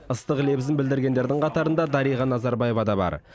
ыстық лебізін білдіргендердің қатарында дариға назарбаева да бар